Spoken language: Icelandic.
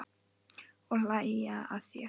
Og hlæja að þér.